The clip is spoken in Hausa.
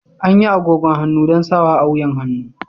Anyi agogon hannu don sawa a wuyan hannu.